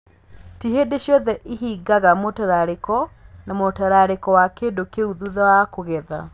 Ti hingo ciothe ihingaga mũtararĩko na mũtararĩko wa kĩndũ kĩu thutha wa kũgetha